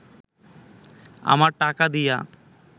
আমার টাকা দিয়া